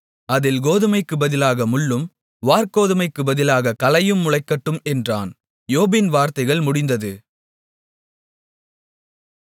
அதில் கோதுமைக்குப் பதிலாக முள்ளும் வாற்கோதுமைக்குப் பதிலாகக் களையும் முளைக்கட்டும் என்றான் யோபின் வார்த்தைகள் முடிந்தது